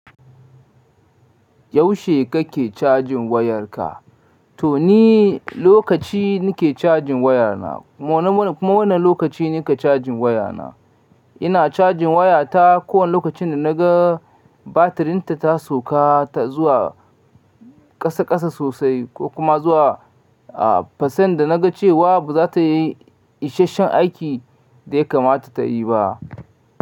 Yaushe kake cajin wayarka? To ni lokaci nike cajin wayana. Wane lokaci nika cajin wayana? Ina cajin wayata kowane lokacin da naga batirinta ta sauka ta zuwa ƙasa ƙasa sosai ko kuma zuwa a percent da naga cewa ba za ta yi isashen aiki da ya kamata ta yi ba.